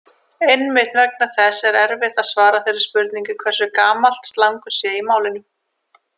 Einmitt vegna þess er erfitt að svara þeirri spurningu hversu gamalt slangur sé í málinu.